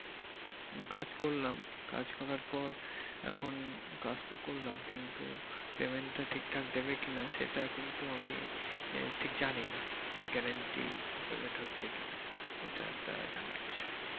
কাজ করলাম কাজ করার পর এখন কাজ তো করলাম কিন্তু payment টা ঠিকঠাক দিবে কিনা সেটা কিন্তু আমি আহ ঠিক জানি না সে guarantee payment হচ্ছে কি না এটা একটা জানার বিষয়।